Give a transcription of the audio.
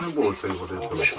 Elə vaxt yox idi.